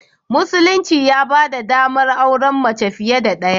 Musulunci ya ba da ɗamar auren mace fiye da ɗaya.